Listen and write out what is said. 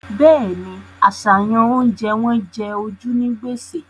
Bẹ́ẹ̀ni, àṣàyàn oúnjẹ wọn jẹ ojú ní gbèsè